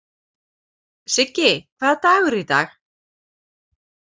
Siggi, hvaða dagur er í dag?